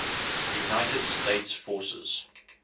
united states forces